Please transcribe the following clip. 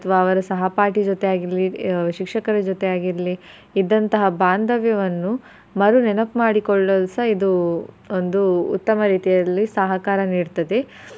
ಅಥವಾ ಅವ್ರ ಸಹಪಾಠಿ ಜೊತೆಯಾಗಿರ್ಲಿ, ಶಿಕ್ಷಕರ ಜೊತೆ ಆಗಿರ್ಲಿ ಇದ್ದಂತಹ ಬಾಂದವ್ಯವನ್ನು ಮರುನೆನಪ್ ಮಾಡಕೊಳ್ಳಲ್ಸ ಇದು ಒಂದು ಉತ್ತಮ ರೀತಿಯಲ್ಲಿ ಸಹಕಾರ ನೀಡ್ತದೆ.